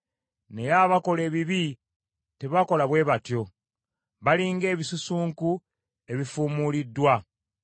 Naye abakola ebibi tebakola bwe batyo. Bali ng’ebisusunku ebifuumuuliddwa.